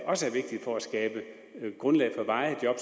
også er vigtigt for at skabe grundlag for varige job